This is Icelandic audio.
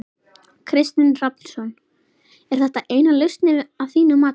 Kristinn Hrafnsson: Er þetta eina lausnin að þínu mati?